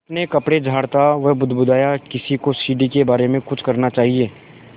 अपने कपड़े झाड़ता वह बुदबुदाया किसी को सीढ़ी के बारे में कुछ करना चाहिए